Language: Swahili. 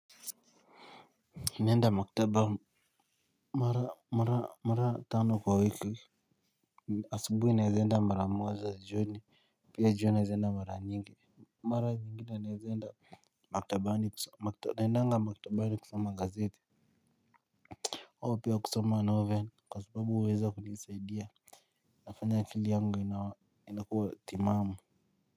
Ninaenda maktaba mara mara mara tano kwa wiki asubuhi naeza enda mara moja jioni pia jiona naeza enda mara nyingi mara nyingine naeza enda maktabani kusoma kitabu naendanga maktabani kusoma gazeti au pia kusoma novel kwa sababu huweza kunisaidia nafanya akili yangu inakuwa timaamu.